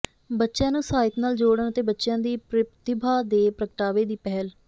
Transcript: ਬੱਚਿਆਂ ਨੂੰ ਸਾਹਿਤ ਨਾਲ ਜੋੜਨ ਅਤੇ ਬੱਚਿਆਂ ਦੀ ਪ੍ਰਤਿਭਾ ਦੇ ਪ੍ਰਗਟਾਵੇ ਦੀ ਪਹਿਲ